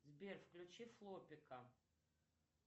сбер включи флопика